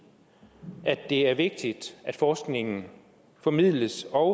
i at det er vigtigt at forskningen formidles og